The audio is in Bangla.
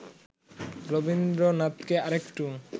রবীন্দ্রনাথকে আরেকটু